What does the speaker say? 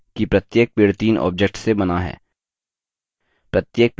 अब ध्यान रहे कि प्रत्येक पेड़ तीन objects से now है